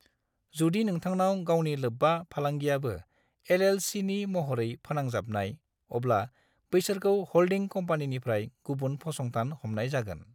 जुदि नोंथांनाव गावनि लोब्बा फालांगियाबो एल.एल.सी.नि महरै फोनांजाबनाय, अब्ला बैसोरखौ ह'ल्डिं कम्पानिनिफ्राय गुबुन फसंथान हमनाय जागोन।